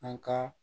An ka